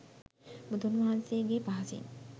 බුදුන් වහන්සේගේ පහසින්